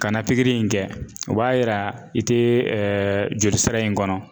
Kana in kɛ o b'a yira i tɛ jolisira in kɔnɔ.